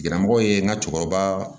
Gɛrɛmɔgɔ ye n ka cɛkɔrɔba